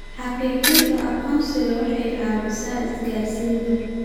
Xaqiijinta aqoonsiga waxay ka caawisaa isgaarsiinta.